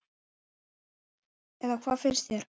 Eða hvað finnst þér?